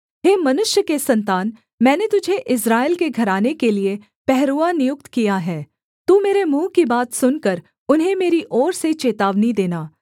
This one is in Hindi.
हे मनुष्य के सन्तान मैंने तुझे इस्राएल के घराने के लिये पहरुआ नियुक्त किया है तू मेरे मुँह की बात सुनकर उन्हें मेरी ओर से चेतावनी देना